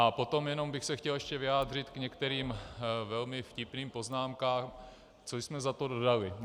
A potom jenom bych se chtěl ještě vyjádřit k některým velmi vtipným poznámkám, co jsme za to dostali.